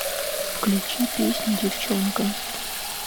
включи песню девчонка